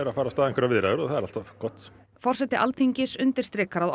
að fara af stað einhverjar viðræður og það er alltaf gott forseti Alþingis undirstrikar að